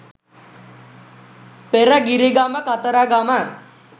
Peragirigama Kataragama.